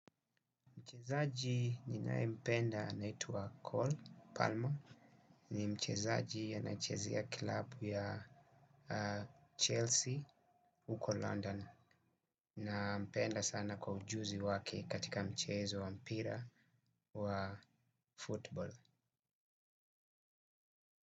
Mchezaji ninayempenda anaitwa Cole Palmer. Ni mchezaji anachezea kilabu ya Chelsea huko London. Nampenda sana kwa ujuzi wake katika mchezo wa mpira wa football.